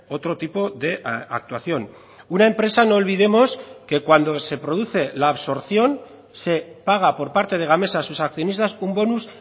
otro tipo de actuación una empresa no olvidemos que cuando se produce la absorción se paga por parte de gamesa a sus accionistas un bonus